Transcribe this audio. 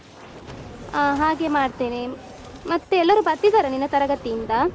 ಹ ಹಾಗೆ ಮಾಡ್ತೇನೆ ಮತ್ತೆ ಎಲ್ಲರು ಬರ್ತಿದ್ದಾರಾ ನಿನ್ನ ತರಗತಿಯಿಂದ?